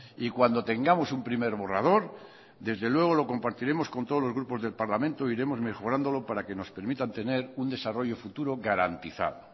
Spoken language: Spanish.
y cuando tengamos un primer borrador desde luego lo compartiremos con todos los grupos del parlamento e iremos mejorándolo para que nos permitan tener un desarrollo futuro garantizado